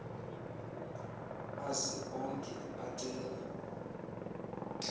aze onke acela